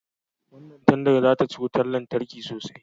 Wannan tandar za ta ci wutan lantarki sosai